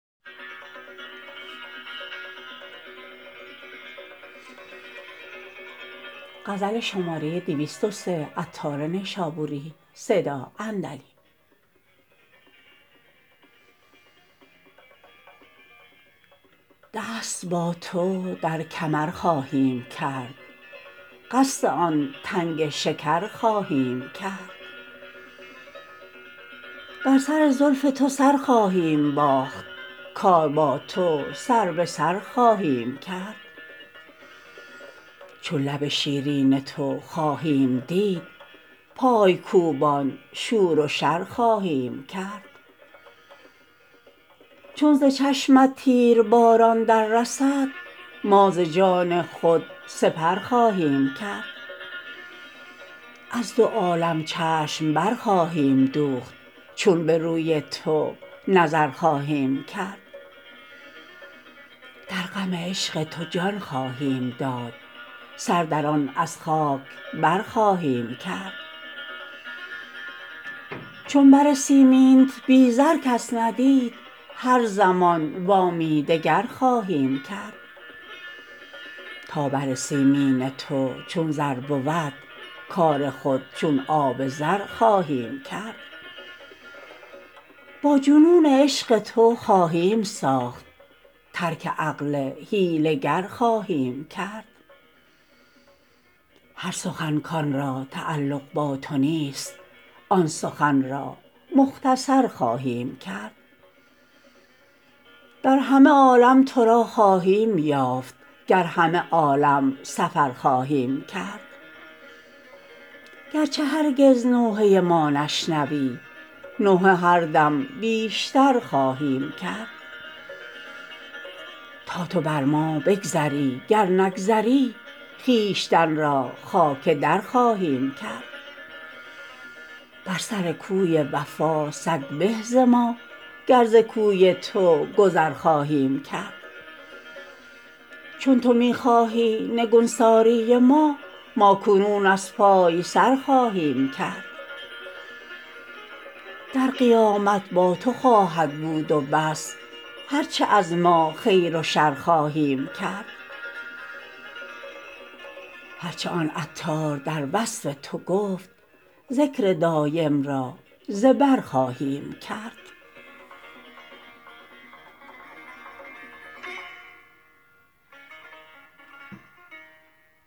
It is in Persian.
دست با تو در کمر خواهیم کرد قصد آن تنگ شکر خواهیم کرد در سر زلف تو سر خواهیم باخت کار با تو سر به سر خواهیم کرد چون لب شیرین تو خواهیم دید پای کوبان شور و شر خواهیم کرد چون ز چشمت تیرباران در رسد ما ز جان خود سپر خواهیم کرد از دو عالم چشم بر خواهیم دوخت چون به روی تو نظر خواهیم کرد در غم عشق تو جان خواهیم داد سر در آن از خاک بر خواهیم کرد چون بر سیمینت بی زر کس ندید هر زمان وامی دگر خواهیم کرد تا بر سیمین تو چون زر بود کار خود چون آب زر خواهیم کرد با جنون عشق تو خواهیم ساخت ترک عقل حیله گر خواهیم کرد هر سخن کانرا تعلق با تو نیست آن سخن را مختصر خواهیم کرد در همه عالم تو را خواهیم یافت گر همه عالم سفر خواهیم کرد گرچه هرگز نوحه ما نشنوی نوحه هر دم بیشتر خواهیم کرد تا تو بر ما بگذری گر نگذری خویشتن را خاک درخواهیم کرد بر سر کوی وفا سگ به ز ما گر ز کوی تو گذر خواهیم کرد چون تو می خواهی نگونساری ما ما کنون از پای سر خواهیم کرد در قیامت با تو خواهد بود و بس هرچه از ما خیر و شر خواهیم کرد هرچه آن عطار در وصف تو گفت ذکر دایم را ز بر خواهیم کرد